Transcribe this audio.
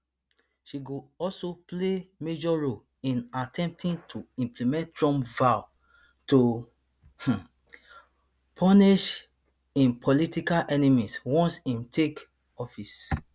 she go also play major role in attempting to implement trump vow to um punish im political enemies once im take office